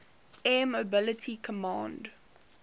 air mobility command